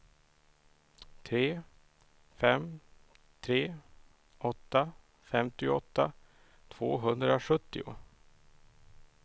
tre fem tre åtta femtioåtta tvåhundrasjuttio